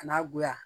Ka n'a goya